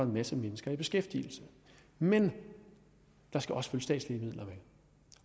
en masse mennesker i beskæftigelse men der skal også statslige midler med